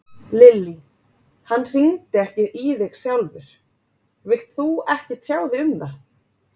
Lillý: Hann hringdi ekki í þig sjálfur, vilt þú ekki tjá þig um það?